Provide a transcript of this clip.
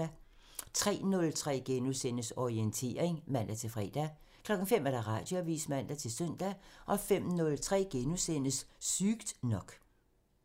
03:03: Orientering *(man-fre) 05:00: Radioavisen (man-søn) 05:03: Sygt nok *(man)